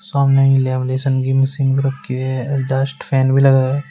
सामने लेमिनेशन की मशीन रखीं हुई है एग्जास्ट फैन भी लगा है।